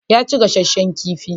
Ya ci gasasshen kifi.